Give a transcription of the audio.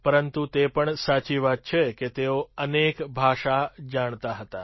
પરંતુ તે પણ સાચી વાત છે કે તેઓ અનેક ભાષા જાણતા હતા